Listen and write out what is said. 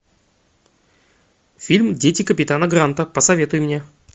фильм дети капитана гранта посоветуй мне